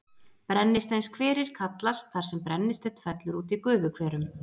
Brennisteinshverir kallast þar sem brennisteinn fellur út í gufuhverum.